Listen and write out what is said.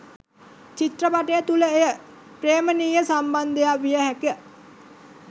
චිත්‍රපටය තුළ එය ප්‍රේමනීය සම්බන්ධයක් විය හැක.